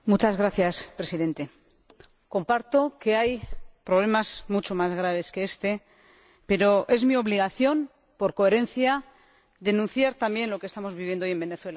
Señor Presidente, comparto que hay problemas mucho más graves que este, pero es mi obligación, por coherencia, denunciar también lo que estamos viviendo hoy en Venezuela.